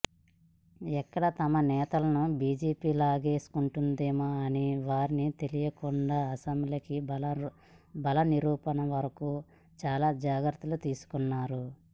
ఎక్కడ తమ నేతలను బీజేపీ లాగేసుకుంటుందో అని వారికి తెలియకుండా అసెంబ్లీలో బలనిరూపణ వరకు చాలా జాగ్రత్తలు తీసుకున్నారు